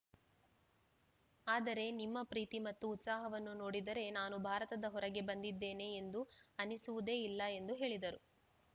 ಆದರೆ ನಿಮ್ಮ ಪ್ರೀತಿ ಮತ್ತು ಉತ್ಸಾಹವನ್ನು ನೋಡಿದರೆ ನಾನು ಭಾರತದ ಹೊರಗೆ ಬಂದಿದ್ದೇನೆ ಎಂದು ಅನಿಸುವುದೇ ಇಲ್ಲ ಎಂದು ಹೇಳಿದರು